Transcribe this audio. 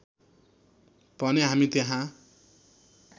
भने हामी त्यहाँ